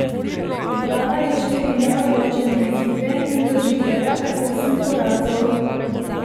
Zbrala je štiri neodločene izide in doživela kar osem porazov.